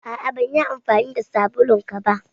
A'a. Ban yi amfani da sabulun ka ba.